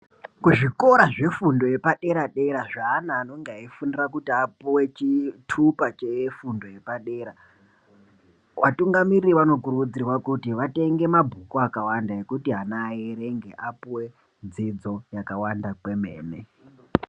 Kuzvikora zvefundo yepadera dera zveana anonga eifundira kuti apiwe chitupa chefundo yepadera. Vatungamiri vanokurudzirwa kuti vatenge mabhuku akawanda ekuti ana aerenge apuwe dzidzo yakawanda kwemene .